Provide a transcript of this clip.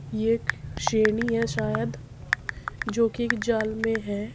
ये एक शेरनी है शायद जो कि एक जाल में है।